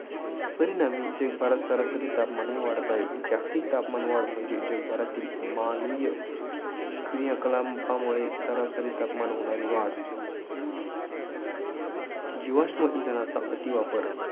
परिणामी जगभरात सरासरी तापमाही वाढत आहे. जागतिक तापमानवाढ म्हणजे, जगभरातील मानवीय क्रिया कलापांमुळे तापमानात होणारी वाढ. जीवाश्म इंधनाचा अतिवापर.